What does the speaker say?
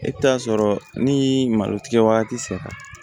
E bɛ taa sɔrɔ ni malo tigɛ wagati sera